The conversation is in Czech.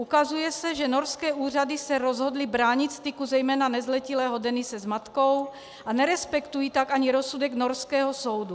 Ukazuje se, že norské úřady se rozhodly bránit styku, zejména nezletilého Denise s matkou, a nerespektují tak ani rozsudek norského soudu.